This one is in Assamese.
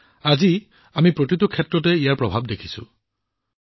আৰু আজি আমি প্ৰতিটো ক্ষেত্ৰতে ইয়াৰ প্ৰভাৱ দেখিছোঁ